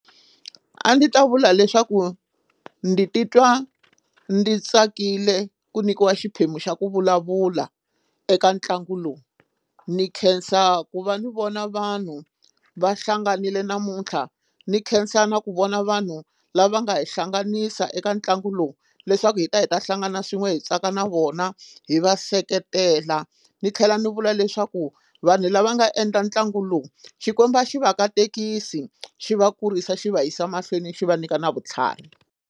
A ndzi ta vula leswaku ndzi titwa ndzi tsakile ku nyikiwa xiphemu xa ku vulavula eka ntlangu lowu ni khensa ku va ni vona vanhu va hlanganile namuntlha ni khensa na ku vona vanhu lava nga hi hlanganisa eka ntlangu lowu leswaku hi ta hi ta hlangana swin'we hi tsaka na vona hi va seketela ni tlhela ni vula leswaku vanhu lava nga endla ntlangu lowu Xikwembu a xi va katekisi xi va kurisa xi va yisa mahlweni xi va nyika na vutlhari.